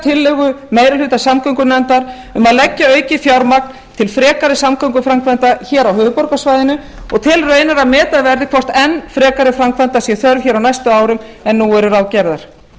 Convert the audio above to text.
tillögu meiri hluta samgöngunefndar um að leggja aukið fjármagn til frekari samgönguframkvæmda hér á höfuðborgarsvæðinu og telur raunar að meta verði hvort enn frekari framkvæmda sé þörf á næstu árum en nú eru ráðgerðar